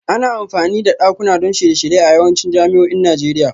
Ana amfani da dakuna don shirye-shirye a yawancin jami'o'in Najeriya